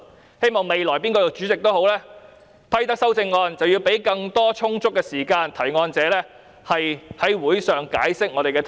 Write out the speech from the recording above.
我希望未來無論哪位擔任主席，既然批准修正案，便應提供充足時間予提出修正案者在會上解釋修正案。